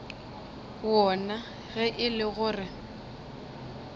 wona ge e le gore